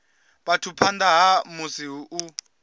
vhathu phanḓa ha musi u